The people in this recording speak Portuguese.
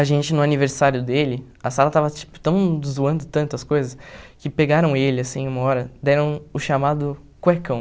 A gente, no aniversário dele, a sala estava tipo tão zoando tanto as coisas, que pegaram ele, assim, uma hora, deram o chamado cuecão.